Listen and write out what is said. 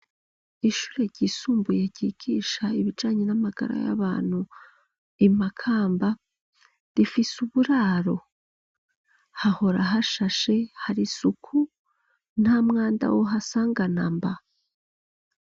Ishure ryisumbuye gikisha ibijanyi n'amagara y'abantu imakamba rifise uburaro hahora hashashe hari suku nta mwanda wohasanga namba.